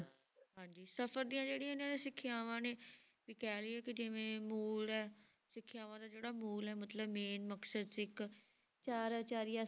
ਹਾਂਜੀ ਸਫ਼ਰ ਦੀਆਂ ਜਿਹੜੀਆਂ ਇਹਨਾਂ ਦੀ ਸਿੱਖਿਆਵਾਂ ਨੇ ਵੀ ਕਹਿ ਲਈਏ ਕਿ ਜਿਵੇਂ ਮੂਲ ਹੈ ਸਿੱਖਿਆਵਾਂ ਦਾ ਜਿਹੜਾ ਮੂਲ ਹੈ ਮਤਲਬ main ਮਕਸਦ ਸੀ ਇੱਕ ਚਾਰ ਅਚਾਰੀਆ